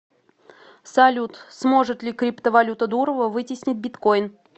салют сможет ли криптовалюта дурова вытеснить биткойн